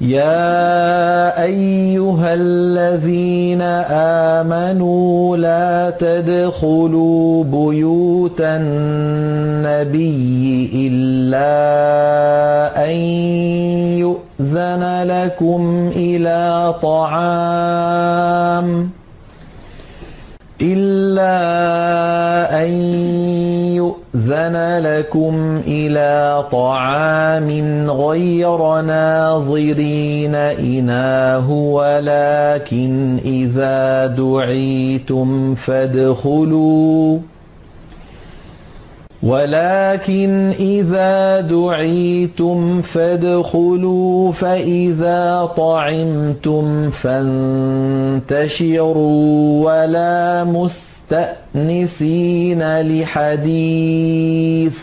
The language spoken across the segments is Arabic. يَا أَيُّهَا الَّذِينَ آمَنُوا لَا تَدْخُلُوا بُيُوتَ النَّبِيِّ إِلَّا أَن يُؤْذَنَ لَكُمْ إِلَىٰ طَعَامٍ غَيْرَ نَاظِرِينَ إِنَاهُ وَلَٰكِنْ إِذَا دُعِيتُمْ فَادْخُلُوا فَإِذَا طَعِمْتُمْ فَانتَشِرُوا وَلَا مُسْتَأْنِسِينَ لِحَدِيثٍ ۚ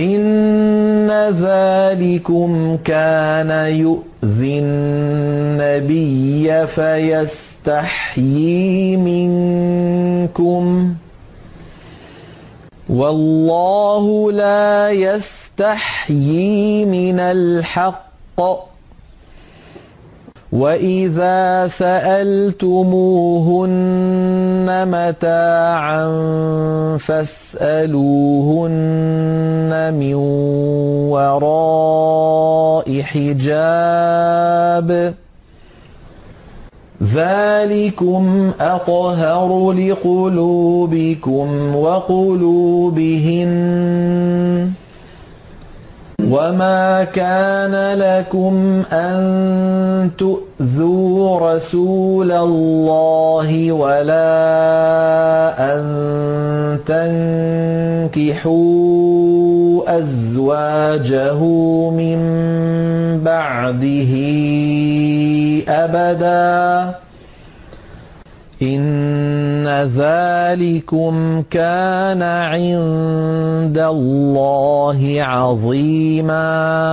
إِنَّ ذَٰلِكُمْ كَانَ يُؤْذِي النَّبِيَّ فَيَسْتَحْيِي مِنكُمْ ۖ وَاللَّهُ لَا يَسْتَحْيِي مِنَ الْحَقِّ ۚ وَإِذَا سَأَلْتُمُوهُنَّ مَتَاعًا فَاسْأَلُوهُنَّ مِن وَرَاءِ حِجَابٍ ۚ ذَٰلِكُمْ أَطْهَرُ لِقُلُوبِكُمْ وَقُلُوبِهِنَّ ۚ وَمَا كَانَ لَكُمْ أَن تُؤْذُوا رَسُولَ اللَّهِ وَلَا أَن تَنكِحُوا أَزْوَاجَهُ مِن بَعْدِهِ أَبَدًا ۚ إِنَّ ذَٰلِكُمْ كَانَ عِندَ اللَّهِ عَظِيمًا